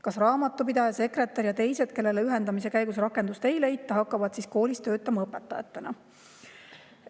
Kas raamatupidaja, sekretär ja teised, kellele ühendamise käigus rakendust ei leita, hakkavad siis koolis töötama õpetajatena?